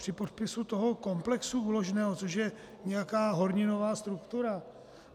Při podpisu toho komplexu úložného, což je nějaká horninová struktura?